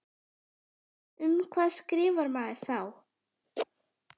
Um hvað skrifar maður þá?